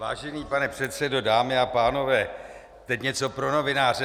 Vážený pane předsedo, dámy a pánové, teď něco pro novináře.